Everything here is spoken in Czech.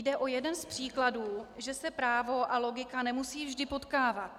Jde o jeden z příkladů, že se právo a logika nemusí vždy potkávat.